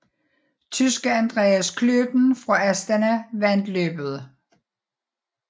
Tyske Andreas Klöden fra Astana vandt løbet